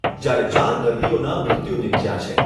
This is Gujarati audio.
જ્યારે ચાર દર્દીઓના મૃત્યુ નિપજ્યા છે.